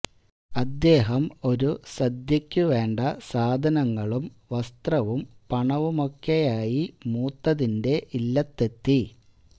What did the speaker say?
അദ്ദേഹം ഒരു സദ്യയ്ക്കു വേണ്ട സാധനങ്ങളും വസ്ത്രവും പണവുമൊക്കെയായി മൂത്തതിന്റെ ഇല്ലത്തെത്തി